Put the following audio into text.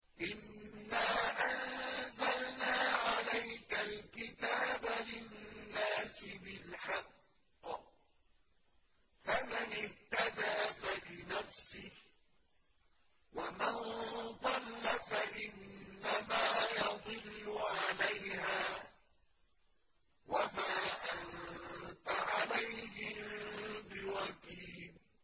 إِنَّا أَنزَلْنَا عَلَيْكَ الْكِتَابَ لِلنَّاسِ بِالْحَقِّ ۖ فَمَنِ اهْتَدَىٰ فَلِنَفْسِهِ ۖ وَمَن ضَلَّ فَإِنَّمَا يَضِلُّ عَلَيْهَا ۖ وَمَا أَنتَ عَلَيْهِم بِوَكِيلٍ